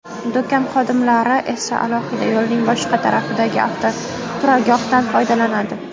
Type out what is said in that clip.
Do‘kon xodimlari esa alohida, yo‘lning boshqa tarafidagi avtoturargohdan foydalanadi.